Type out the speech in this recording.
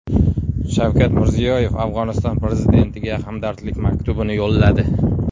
Shavkat Mirziyoyev Afg‘oniston prezidentiga hamdardlik maktubini yo‘lladi.